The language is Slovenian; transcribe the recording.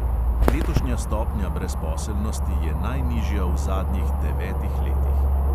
Letošnja stopnja brezposelnosti je najnižja v zadnjih devetih letih.